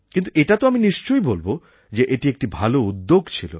কিন্তু এটা তো আমি নিশ্চয়ই বলবো যে এটি একটি ভালো উদ্যোগ ছিল